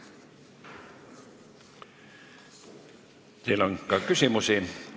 Teile on ka küsimusi.